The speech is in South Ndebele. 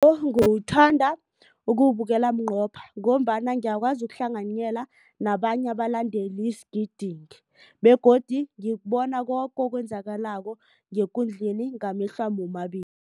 Ngiwuthanda ukuwubukela bunqopha ngombana ngiyakwazi ukuhlanganyela nabanye abalandeli sigidinge begodu ngibona koke okwenzakalako ngekundleni ngamehlwami womabili.